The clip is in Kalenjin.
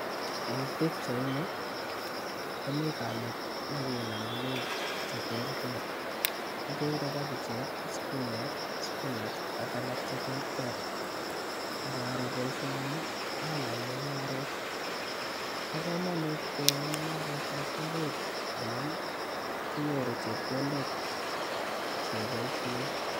Eng pichaini komii kamet nekinam ngwek cheterter akere kopichek, sukuma, spinach ak alak cheterter, ngaro boisioni anan mung'aret pokomonut keyai mung'aretab ngwek amun kinyoru chepkondok cheboisien.